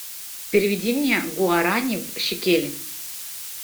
переведи мне гуарани в шекели